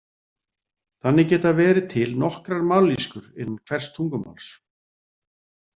Þannig geta verið til nokkrar mállýskur innan hvers tungumáls.